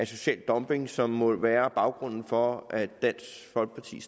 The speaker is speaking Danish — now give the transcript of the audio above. social dumping som vel må være baggrunden for at dansk folkeparti